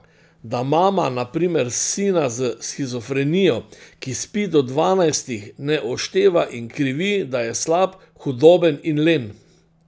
Da mama na primer sina s shizofrenijo, ki spi do dvanajstih, ne ošteva in krivi, da je slab, hudoben in len.